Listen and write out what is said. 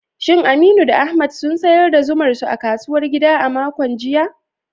Shin Aminu da Ahmad sun sayar da zumar su a kasuwar gida a makon jiya?